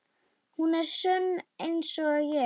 Hún er sönn einsog ég.